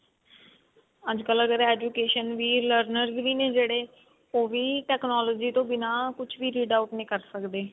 ਅੱਜਕਲ ਅਗਰ education ਵੀ learner ਵੀ ਨੇ ਜਿਹੜੇ ਉਹ ਵੀ technology ਤੋਂ ਬਿਨਾ ਕੁਛ ਵੀ read out ਨਹੀ ਕਰ ਸਕਦੇ